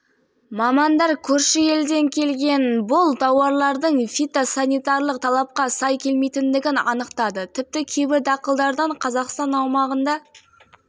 сүйіспеншілігін қалыптастыру бағдарлама аясында тек кәсіпкерлер емес әрбір сала өкілі әрбір азамат белсенділік танытуы